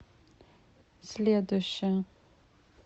следующая